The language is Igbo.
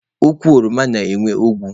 Ukwu oroma na-enwe ogwu.